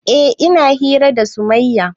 Eh ina hira da sumayya